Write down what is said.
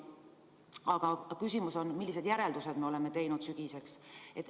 Aga küsimus on, millised järeldused me oleme teinud sügiseks.